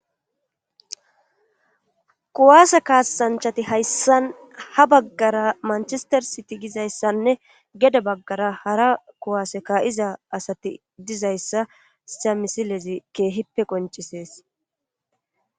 Kuwaase kaasanchati hayssan ha baggara manchestersiti gizayssanne gede baggara hara kuwaase ka'iza asati dizayssa hayssa misiilezi keehippe qoncisees